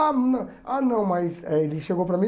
Ah, não, ah não mas eh ele chegou para mim.